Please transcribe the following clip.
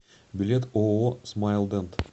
билет ооо смайлдент